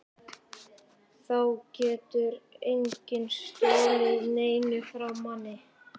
Þá getur enginn stolið neinu frá manni.